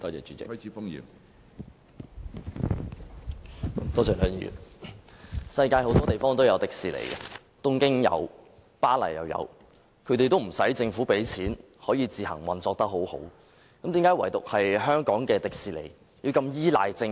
主席，世界各地也有迪士尼，例如東京及巴黎，但都不需政府動用公帑，也能運作良好，為何唯獨香港迪士尼要如此依賴政府呢？